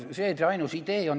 See see ainus idee on.